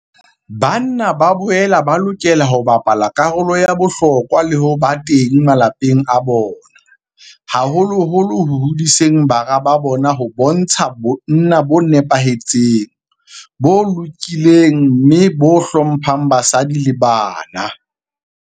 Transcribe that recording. Banna ba boela ba lokela ho bapala karolo ya bohlokwa le ho ba teng malapeng a bona, haholoholo ho hodiseng bara ba bona ho bontsha bonna bo nepahetseng, bo lokileng mme bo hlo mphang basadi le bana.